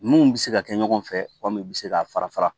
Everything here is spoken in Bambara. N'u bɛ se ka kɛ ɲɔgɔn fɛ walima u bɛ se ka fara fara